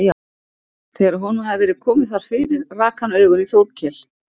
Þegar honum hafði verið komið þar fyrir rak hann augun í Þórkel.